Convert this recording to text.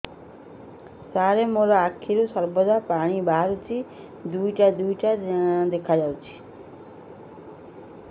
ସାର ମୋ ଆଖିରୁ ସର୍ବଦା ପାଣି ବାହାରୁଛି ଦୁଇଟା ଦୁଇଟା ଦେଖାଯାଉଛି